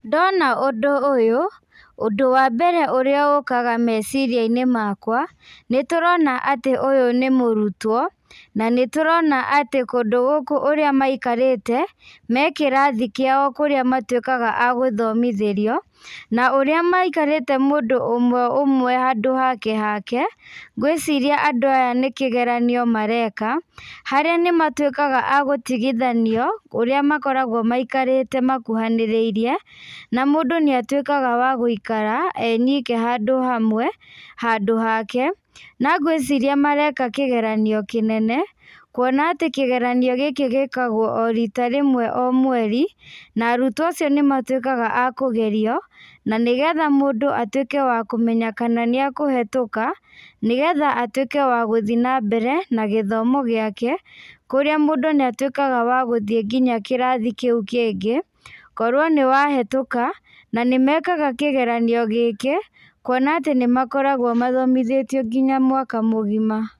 Ndona ũndũ ũyũ, ũndũ wa mbere ũrĩa ũkaga meciria-inĩ makwa, nĩ tũrona atĩ ũyũ nĩ mũrutwo, na nĩ tũrona atĩ kũndũ kũrĩa maikarĩte, me kĩrathi kĩao kũrĩa matuĩkaga agũthomothĩrio na ũrĩa maikarĩte mũndũ ũmwe ũmwe, handũ hake hake, ngwĩciria andũ aya nĩ kĩgeranio mareka , harĩa nĩmatuĩkaga agũtigithanio ũrĩa makoragwo maikarĩte makũhanĩrĩirie, na mũndũ nĩ atuĩkaga wa gũikara e nyika handũ hamwe, handũ hake , na ngwĩciria mareka kĩgeranio kĩnene, kuona atĩ kĩgeranio gĩkĩ gĩkagwo o rita rĩmwe o mweri, na arutwo acio nĩ matuĩkaga akũgerio, na nĩgetha mũndũ atuĩke wa kũmenya kana nĩ akũhetuka, na nĩgetha atuĩke wa gũthiĩ na mbere na gĩthomo gĩake, kũrĩa mũndũ nĩ atuĩkaga wa gũthiĩ nginya kĩrathi kĩu kĩngĩ, korwo nĩwa hĩtũka , na nĩ mekaga kĩgeranio gĩkĩ, kuona atĩ nĩmakoragwo mathomithĩtio nginya mwaka mũgima.